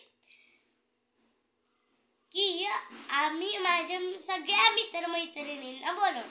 असे करणाऱ्यांना व्यक्ती तुरुंगात जाऊ शकतो व तसेच money laundering म्हणून पण एक पैशांचा प्रकार असतो. money laundmoney laundering म्हणजे काळा पैशाचे पांढऱ्या पैशात रूपांतर होते.